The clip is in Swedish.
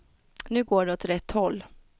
Nu går det åt rätt håll.